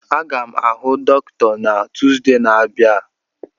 Aga m ahụ dọkịta na Tuzdee na-abịa